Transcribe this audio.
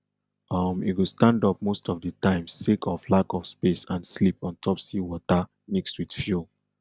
um e go stand up most of di time sake of lack of space and sleep ontop sea water mixed with fuel